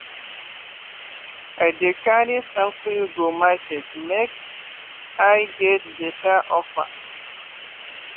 i dey carry sample go market make i get better offer.